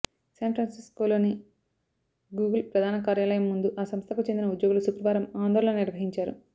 San ఫ్రాన్సిస్కోలోని Google ప్రధాన కార్యాలయం ముందు ఆ సంస్థకు చెందిన ఉద్యోగులు శుక్రవారం ఆందోళన నిర్వహించారు